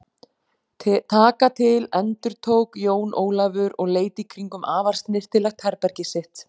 Taka til endurtók Jón Ólafur og leit í kringum afar snyrtilegt herbergið sitt.